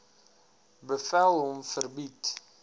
bevel hom verbied